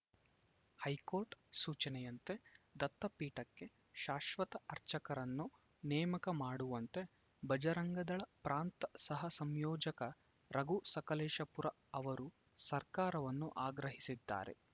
high court ಸೂಚನೆಯಂತೆ ದತ್ತಪೀಠಕ್ಕೆ ಶಾಶ್ವತ ಅರ್ಚಕರನ್ನು ನೇಮಕ ಮಾಡುವಂತೆ ಬಜರಂಗದಳ ಪ್ರಾಂತ ಸಹ ಸಂಯೋಜಕ ರಘು ಸಕಲೇಶಪುರ ಅವರು ಸರ್ಕಾರವನ್ನು ಆಗ್ರಹಿಸಿದ್ದಾರೆ